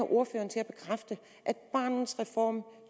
ordføreren til at bekræfte at barnets reform